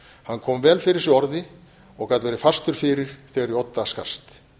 hann kom vel fyrir sig orði og gat verið fastur fyrir þegar í odda skarst